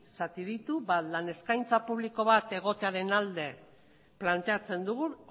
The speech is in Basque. zati ditu bat lan eskaintza publiko bat egotearen alde planteatzen dugu